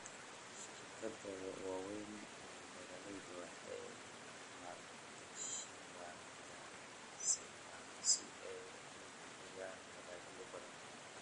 Shirkadaha waaweyn ee beeralayda waxay maalgashadaan agrochemicals si ay u hubiyaan dalagyo badan.